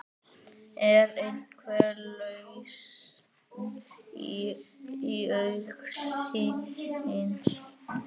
Er einhver lausn í augsýn?